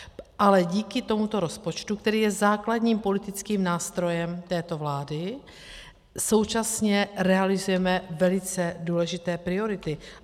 Ale díky tomuto rozpočtu, který je základním politickým nástrojem této vlády, současně realizujeme velice důležité priority.